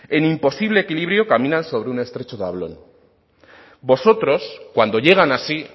en imposible equilibrio caminan sobre un estrecho tablón vosotros cuando llegan así